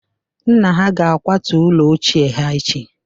nna ha ga-akwatu ụlọ ochie ha echi